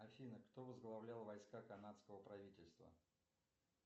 афина кто возглавлял войска канадского правительства